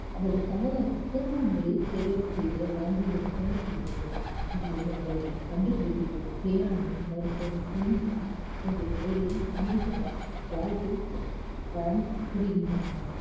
அல்லது சமுதாயத்தில் சிறந்த முறையில் சேவைகள் செய்திட வழங்குகிறது வழங்கப்படுகிறது அதாவது அவர்களின் கண்டுபிடிப்புகள், வேளாண்மை, மருத்துவம், தொழில்நுட்பம் போன்ற துறைகளில் ஈடுபட வாழ்க்க புரிகின்றன